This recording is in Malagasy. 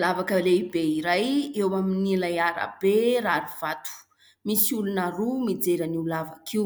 Lavaka lehibe iray eo amin'ilay arabe rarivato. Misy olona roa mijery an'io lavaka io.